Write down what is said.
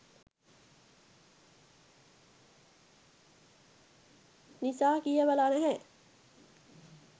නිසා කියවල නැහැ